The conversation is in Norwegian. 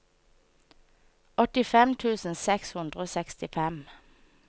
åttifem tusen seks hundre og sekstifem